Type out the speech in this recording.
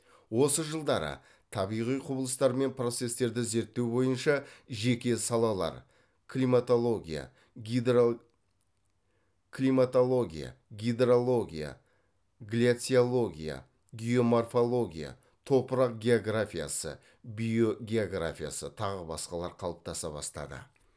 осы жылдары табиғи құбылыстар мен процестерді зерттеу бойынша жеке салалар климатология гидрология гляциология геоморфология топырақ географиясы биогеография тағы басқалар қалыптаса бастады